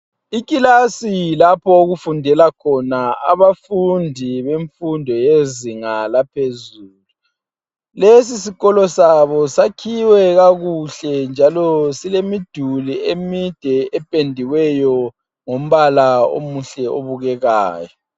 Ikilasi lapho okufundela khona abafundi bemfundo yezinga laphezulu. Lesi sikolo sabo sakhiwe kakuhle njalo silemiduli emide ependiweyo ngombala omuhle obukekayo.